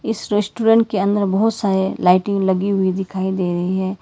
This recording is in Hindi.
इस रेस्टोरेंट के अंदर बहुत सारे लाइटिंग लगी हुई दिखाई दे रही है।